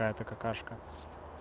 это какашка